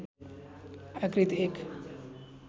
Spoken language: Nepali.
आकृति एक